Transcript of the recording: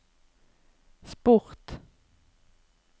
sport